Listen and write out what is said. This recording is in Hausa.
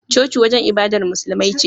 Coci wajan ibadar musulmai ce